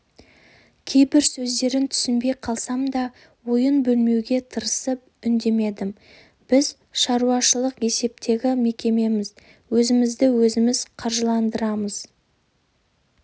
кейбір сөздерін түсінбей қалсам да ойын бөлмеуге тырысып үндемедім біз шаруашылық есептегі мекемеміз өзімізді өзіміз қаржыландырамыз